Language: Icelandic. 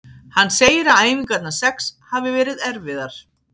Hann segir að æfingarnar sex hafi verið erfiðar.